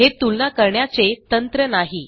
हे तुलना करण्याचे तंत्र नाही